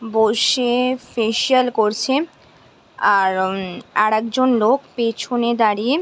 বসে ফেসিয়াল করছে। আর একজন লোক পিছনে দাঁড়িয়ে --